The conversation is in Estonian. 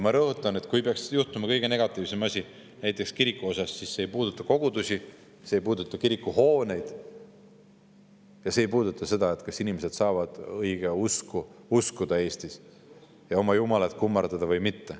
Ma rõhutan, et kui peaks kirikuga juhtuma kõige negatiivsem asi, siis see ei puuduta kogudusi, see ei puuduta kirikuhooneid ja see ei puuduta seda, kas inimesed saavad õigeusku uskuda Eestis ja oma Jumalat kummardada või mitte.